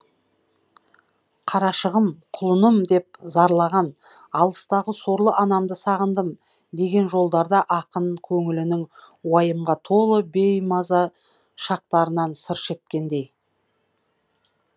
қарашығым құлыным деп зарлаған алыстағы сорлы анамды сағындым деген жолдарда ақын көңілінің уайымға толы беймаза шақтарынан сыр шерткендей